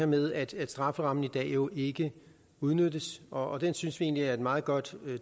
med at strafferammen i dag jo ikke udnyttes og det synes vi egentlig er et meget godt